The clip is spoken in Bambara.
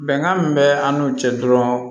Bɛnkan min bɛ an n'u cɛ dɔrɔn